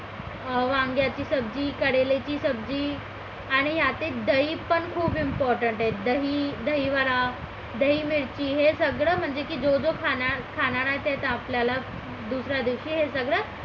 वांग्याची सब्जी करण्याची सब्जी आणि यातील दही पण खूप important आहे दही दही वडा दही मिरची हे सगळं म्हणजे की जो जो खाणार आहे आपल्याला दुसऱ्या दिवशी हे सगळं